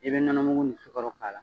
I bɛ nɔnɔ mugu nin sukaro k'a la